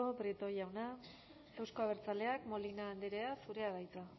prieto jauna euzko abertzaleak molina andrea zurea da hitza